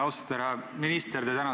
Austatud härra minister!